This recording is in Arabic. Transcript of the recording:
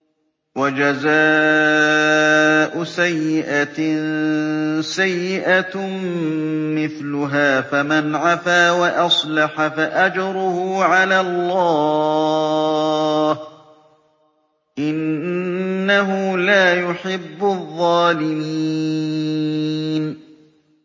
وَجَزَاءُ سَيِّئَةٍ سَيِّئَةٌ مِّثْلُهَا ۖ فَمَنْ عَفَا وَأَصْلَحَ فَأَجْرُهُ عَلَى اللَّهِ ۚ إِنَّهُ لَا يُحِبُّ الظَّالِمِينَ